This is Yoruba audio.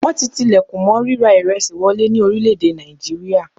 Wọ́n ti tilẹ̀kùn mọ́ ríra ìresì wọlé ní orílẹ̀-èdè nàìjíríà.